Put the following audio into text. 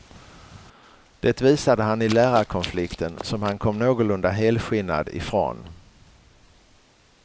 Det visade han i lärarkonflikten, som han kom någorlunda helskinnad ifrån.